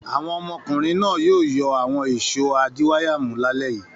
Àwọn ọmọkùnrin náà yóò yọ àwọn ìṣó adiwáyàmú lálẹ́ yìí.